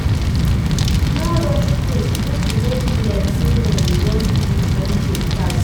No rush things make e no be like sey na you want di friendship pass